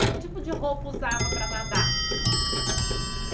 Que tipo de roupa usava para nadar?